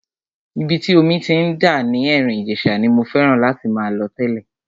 Ibi tí omi ti ń dà ní Erin Ijesa ni mo fẹ́ràn láti máa lọ tẹ́lẹ̀.